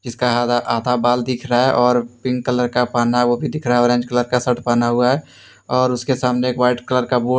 आधा बाल दिख रहा है और पिंक कलर का पहना वो भी दिख रहा है ऑरेंज कलर का शर्ट पहना हुआ है और उसके सामने एक वाइट कलर का बोर्ड --